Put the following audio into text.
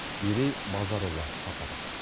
мерей базарұлы тарқатады